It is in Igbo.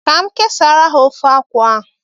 Ka m kesara ha ofe akwu ahu